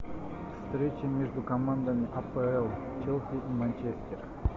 встреча между командами апл челси и манчестер